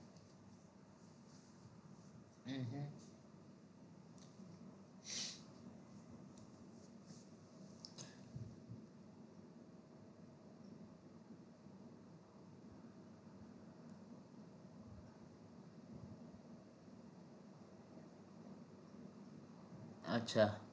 અચ્છા